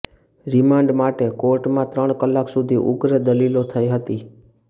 remand માટે કોર્ટમાં ત્રણ કલાક સુધી ઉગ્ર દલીલો થઈ હતી